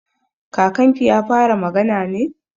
Ƙaninki ya fara magana ne?